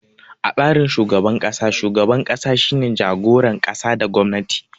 A tsarin shugaban kasa, shugaban ƙasa shine jagoran ƙasa da gwamnati.